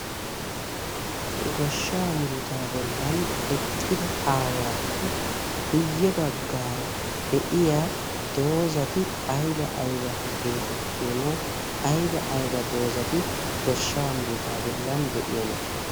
goshshaa murutaa bollan eqqida aawaappe guyye baggaara de'iya doozati aiba aiba geetettiyoona? aiba ayba doozati goshsha muruta bollan de'iyoona?